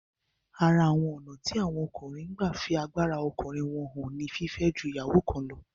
Ara àwọn ònà tí àwọn ọkùnrin n gba fí agbára ọkùnrin wọ́n hàn ni fífẹ́ ju ìyàwó kan lọ